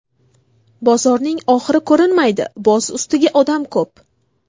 Bozorning oxiri ko‘rinmaydi, boz ustiga, odam ko‘p.